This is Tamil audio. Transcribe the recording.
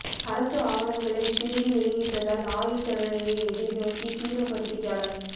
அரசு ஆவணங்களை திருடி வெளியிட்டதால் ஆயுள் தண்டனையை எதிர் நோக்கி சீன பத்திரிகையாளர்